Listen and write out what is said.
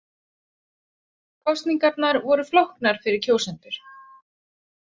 Kosningarnar voru flóknar fyrir kjósendur